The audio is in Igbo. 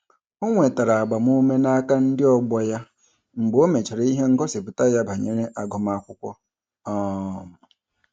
O nwetara agbamume n'aka ndị ọgbọ ya mgbe o mechara ihe ngosipụta ya banyere agụmakwụkwọ. um